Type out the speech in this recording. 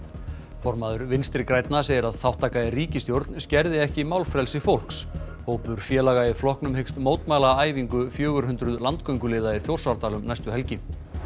formaður Vinstri grænna segir að þátttaka í ríkisstjórn skerði ekki málfrelsi fólks hópur félaga í flokknum hyggst mótmæla æfingu fjögur hundruð landgönguliða í Þjórsárdal um næstu helgi